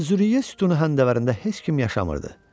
Əz-Züriyə sütunu həndəvərində heç kim yaşamırdı.